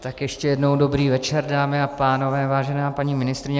Tak ještě jednou dobrý večer, dámy a pánové, vážená paní ministryně.